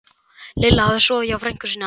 Lilla hafði sofið hjá frænku sinni á